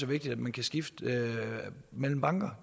vigtigt at man kan skifte mellem banker